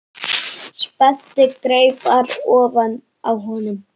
Spennti greipar ofan á honum.